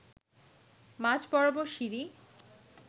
মাঝ বরাবর সিঁড়ি